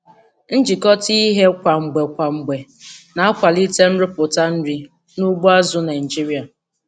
Njikọta ihe kwa mgbe kwa mgbe na-akwalite nrụpụta nri n'ugbo azụ̀ Naịjiria.